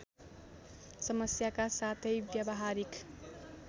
समस्याका साथै व्यवहारिक